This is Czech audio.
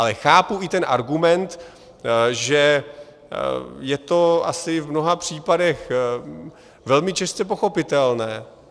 Ale chápu i ten argument, že je to asi v mnoha případech velmi těžce pochopitelné.